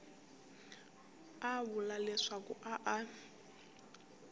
a vula leswaku a a